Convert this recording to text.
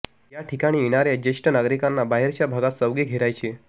या ठिकाणी येणाऱ्या ज्येष्ठ नागरिकांना बाहेरच्या भागात चौघे घेरायचे